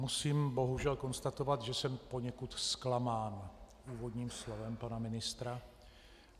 Musím bohužel konstatovat, že jsme poněkud zklamán úvodním slovem pana ministra.